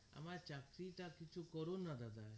আমার চাকরি টা কিছু করুন না দাদা